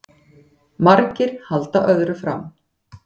Margir halda öðru fram